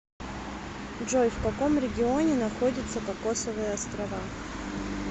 джой в каком регионе находится кокосовые острова